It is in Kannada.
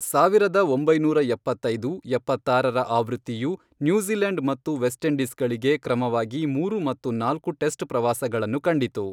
ಸಾವಿರದ ಒಂಬೈನೂರ ಎಪ್ಪತ್ತೈದು, ಎಪ್ಪತ್ತಾರರ ಆವೃತ್ತಿಯು ನ್ಯೂಜಿಲೆಂಡ್ ಮತ್ತು ವೆಸ್ಟ್ ಇಂಡೀಸ್ಗಳಿಗೆ ಕ್ರಮವಾಗಿ ಮೂರು ಮತ್ತು ನಾಲ್ಕು ಟೆಸ್ಟ್ ಪ್ರವಾಸಗಳನ್ನು ಕಂಡಿತು.